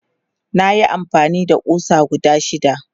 nayi amfani da ƙusa guda shida